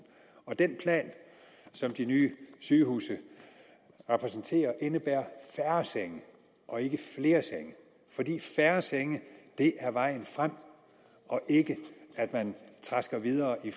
den plan som de nye sygehuse repræsenterer indebærer færre senge og ikke flere senge fordi færre senge er vejen frem ikke at man trasker videre i